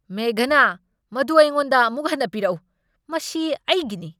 ꯃꯦꯘꯅꯥ, ꯃꯗꯨ ꯑꯩꯉꯣꯟꯗ ꯑꯃꯨꯛ ꯍꯟꯅ ꯄꯤꯔꯛꯎ꯫ ꯃꯁꯤ ꯑꯩꯒꯤꯅꯤ!